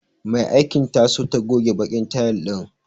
Mai aikin ta so ta goge baƙin tayil ɗin.